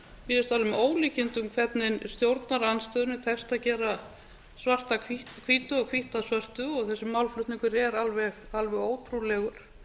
alveg með ólíkindum hvernig stjórnarandstöðunni tekst að gera svart að hvítu og hvítt að svörtu og þessi málflutningur er alveg ótrúlegur